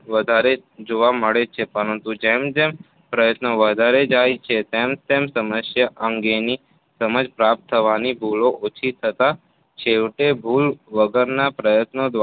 વધારે જોવા મળે છે પરંતુ જેમ જેમ પ્રયત્નો વધતા જાય તેમ તેમ સમસ્યા અંગેની સમજ પ્રાપ્ત થવાભૂલો ઓછી થતા છેવટે ભૂલ વગરના પ્રયત્નો દ્વારા